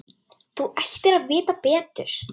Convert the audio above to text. Þú ættir að vita betur!